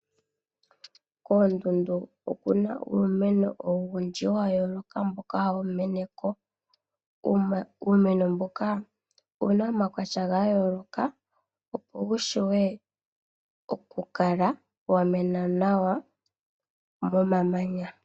Koondundu okuna uumeno owundji wa yooloka mboka hawu meneko . Uumeno mbuka owuna omaukwatya ga yooloka opo wushiwe okukala wa mena nawa momanya.